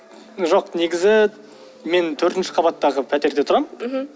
жоқ негізі мен төртінші қабаттағы пәтерде тұрамын мхм